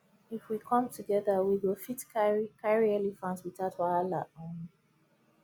if we come together we go fit carry carry elephant without wahala um